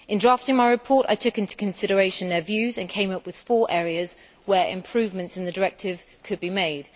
In drafting my report, I took into consideration their views and came up with four areas where improvements in the directive could be made.